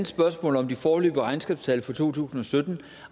spørgsmål om de foreløbige regnskabstal for to tusind og sytten